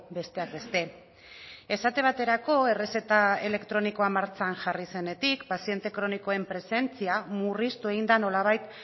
besteak beste esate baterako errezeta elektronikoa martxan jarri zenetik paziente kronikoen presentzia murriztu egin da nolabait